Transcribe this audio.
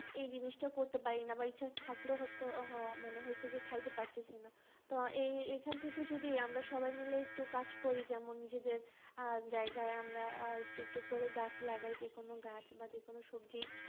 এই জিনিসটা করতে পারি না বা ইচ্ছা থাকলেও হ~হইছে যে খাইতে পারতেছি না, তো এ~এখান থেকে যদি আমরা সবাই মিলে একটু কাজ করি যেমন নিজেদের আহ জায়গায় আমরা একটু একটু একটু করে গাছ লাগাই যে কোনো গাছ বা যে কোনো সবজি